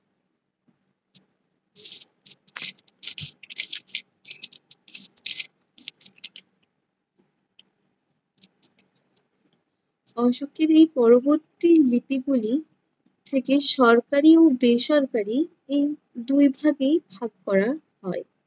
অশোকের এই পরবর্তী লিপিগুলি থেকে সরকারি ও বেসরকারি এই দুই ভাবেই ভাগ করা হয়।